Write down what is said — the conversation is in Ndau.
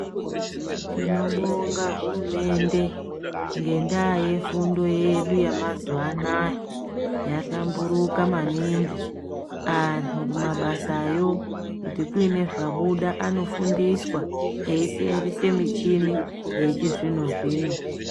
Tinobonga hurumende ngendaa yefundo yedu yemazuwa anaa yahlamburuka maningi andu kumabasayo kuti kuine zvabuda anofundiswa eyisenzesa muchini yechizvino zvino.